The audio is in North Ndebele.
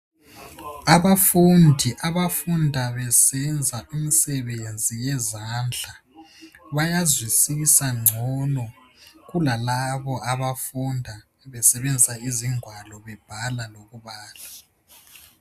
Abafundi abafunda besenza imisebenzi yezandla, bayazwisisa ngcono kulalabo, abafunda besebenzisa izingwalo. Bebhala lokubala.